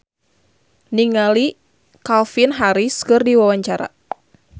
Diana Widoera olohok ningali Calvin Harris keur diwawancara